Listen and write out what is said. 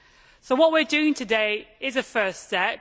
So what we are doing today is a first step.